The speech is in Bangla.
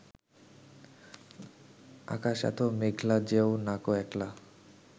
আকাশ এতো মেঘলা যেও নাকো একলা